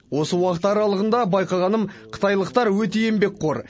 осы уақыт аралығында байқағаным қытайлықтар өте еңбекқор